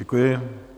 Děkuji.